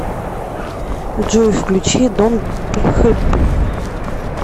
джой включи донт би хэппи